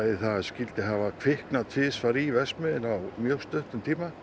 það skyldi hafa kviknað tvisvar í verksmiðjunni á mjög stuttum tíma